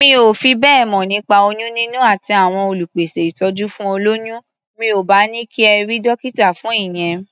Mi ò fi bẹ́ẹ̀ mọ̀ nípa oyún níní àti àwọn olùpèsẹ̀ ìtọ́jú fún olóyún. Mi ò bá ní kí ẹ rí dọ́kítà fún ìyẹn.